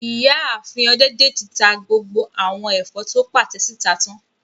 Ìyáàfin Ọdẹ́dèjì ta gbogbo àwọn ẹ̀fọ́ tó pàtẹ síta tán